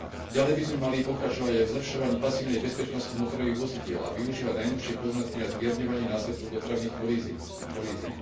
Ďalej by sme mali pokračovať aj v zlepšovaní pasívnej bezpečnosti motorových vozidiel a využívať najnovšie poznatky na zmierňovanie následkov dopravných kolízií.